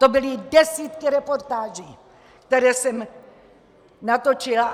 To byly desítky reportáží, které jsem natočila!